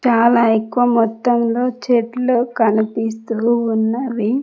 చాలా ఎక్కువ మొత్తం లో చెట్లు కనిపిస్తు ఉన్నవి.